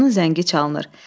Qapının zəngi çalınır.